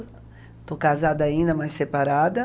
Estou casada ainda, mas separada.